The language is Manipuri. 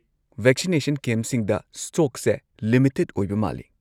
ꯚꯦꯛꯁꯤꯅꯦꯁꯟ ꯀꯦꯝꯞꯁꯤꯡꯗ ꯁ꯭ꯇꯣꯛꯁꯦ ꯂꯤꯃꯤꯇꯦꯗ ꯑꯣꯏꯕ ꯃꯥꯜꯂꯤ꯫